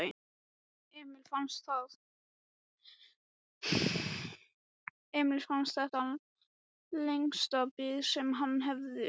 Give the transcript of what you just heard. Emil fannst þetta lengsta bið sem hann hafði upplifað.